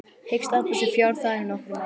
Hyggst afla sér fjár þar í nokkra mánuði.